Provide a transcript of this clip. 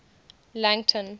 langton